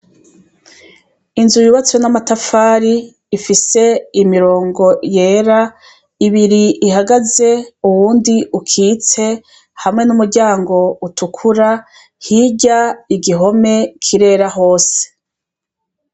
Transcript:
Inzu yubatswe n'amatafari ifise imirongo yera, ibiri ihagaze uwundi ukitse hamwe n'umuryango utukura hirya igihome kirera hose.